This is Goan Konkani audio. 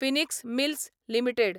Phoenix Mills limited